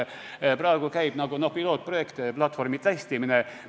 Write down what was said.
Praegu käib nagu pilootprojekt, platvormi testimine.